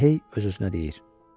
Elə hey öz-özünə deyir: